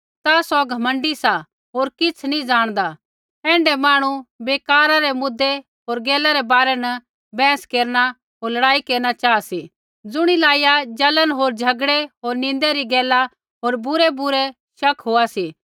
ता सौ घमण्डी सा होर किछ़ नी ज़ाणदा ऐण्ढै मांहणु बेकारा रै मुद्दे होर गैला रै बारै न बैंहस केरना होर लड़ाई केरना चाहा सा री ज़ुणियै लाइया जलन होर झ़गड़ै होर निन्दा री गैला होर बुरैबुरै शक होआ सी